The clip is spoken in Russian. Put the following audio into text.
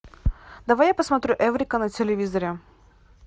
давай я посмотрю эврика на телевизоре